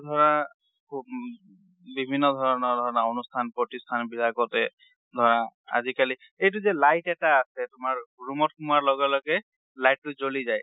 এতিয়া ধৰা খুব বিভিন্ন ধৰণৰ অনুষ্ঠান প্ৰতিষ্ঠান বিলাকতে ধৰা, আজিকালি এইটোযে light এটা আছে তোমাৰ roomত সোমোৱা লগে লগে, light টো জলি যাই।